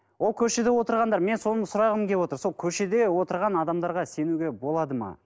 ол көшеде отырғандар мен соны сұрағым келіп отыр сол көшеде отырған адамдарға сенуге болады ма